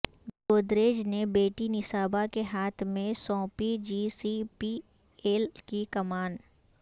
گودریج نے بیٹی نسابا کے ہاتھ میں سونپی جی سی پی ایل کی کمان